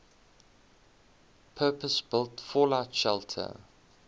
purpose built fallout shelter